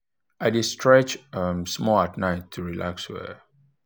i dey stretch um small at night to relax well.